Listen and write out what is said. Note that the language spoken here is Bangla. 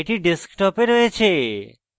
এটি ডেস্কটপে রয়েছে